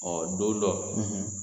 Ɔɔ don dɔ